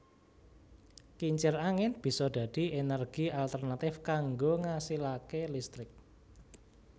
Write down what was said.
Kincir angin bisa dadi ènèrgi alternatif kanggo ngasilaké listrik